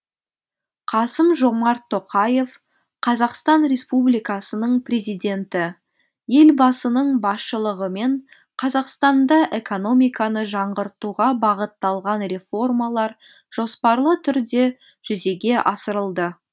қасым жомарт тоқаев қазақстан республикасының президенті елбасының басшылығымен қазақстанда экономиканы жаңғыртуға бағытталған реформалар жоспарлы түрде жүзеге асырылды